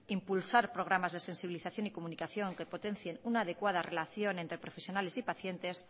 impulsar programas de sensibilización y comunicación que potencien una adecuada relación entre profesionales y pacientes